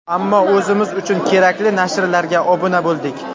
Ammo o‘zimiz uchun kerakli nashrlarga obuna bo‘ldik.